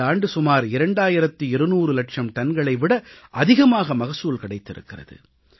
இந்த ஆண்டு சுமார் இரண்டாயிரத்து 200 இலட்சம் டன்களை விட அதிகமாக மகசூல் கிடைத்திருக்கிறது